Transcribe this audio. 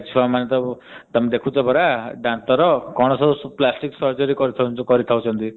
ଆଜି କଲିକା ଛୁଆ ମାନଙ୍କୁ ତମେ ଦେଖୁଛ ତମେ ଦନ୍ତ ର plastic surgery କରି ଦୌଛନ୍ତି। କଣ ନ ମା କ୍ଷୀର ମିଳୁନି ତେଣୁ କରି ବୋଲି ଏ ଟାଇପ ର ସବୁ ଦେଖିବାକୁ ମିଳୁଛି।